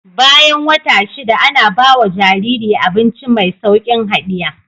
Bayan wata shida Ana bawa Jariri abinci me saukin hadiya